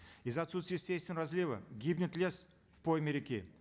из за отсутствия естественного разлива гибнет лес в пойме реки